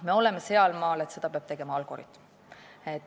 Me oleme sealmaal, et seda peab tegema algoritm.